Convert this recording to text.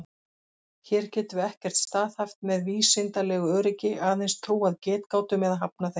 Hér getum við ekkert staðhæft með vísindalegu öryggi, aðeins trúað getgátum eða hafnað þeim.